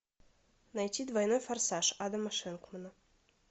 найти двойной форсаж адама шенкмана